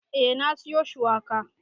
Eh na siyo shuwakan.